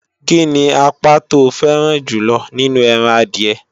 Kíni apá to fẹ́ràn jùlọ nínú ẹran adìẹ?